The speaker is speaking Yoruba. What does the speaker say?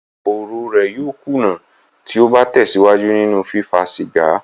Ẹ̀dó-fóóró rẹ̀ yóò kùnà tí ó bá tẹ̀síwájú nínú fífá cìgá.